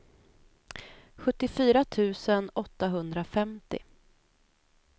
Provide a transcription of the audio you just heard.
sjuttiofyra tusen åttahundrafemtio